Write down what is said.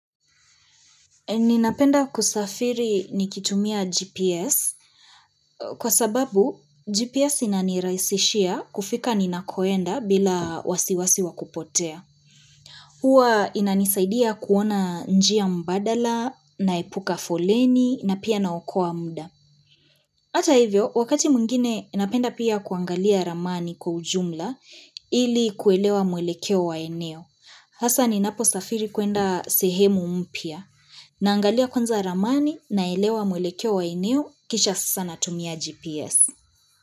Ninapenda kusafiri nikitumia GPS kwa sababu GPS inanirahisishia kufika ninakoenda bila wasiwasi wa kupotea. Huwa inanisaidia kuona njia mbadala, naepuka foleni, na pia naokoa mda. Hata hivyo, wakati mwingine, napenda pia kuangalia ramani kwa ujumla ili kuelewa mwelekeo wa eneo. Hasa ninaposafiri kuenda sehemu umpia. Naangalia kwanza ramani naelewa mwelekeo wa eneo kisha sasa natumia GPS.